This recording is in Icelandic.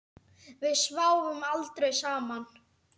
Við sváfum aldrei saman.